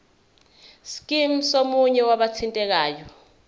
scheme somunye wabathintekayo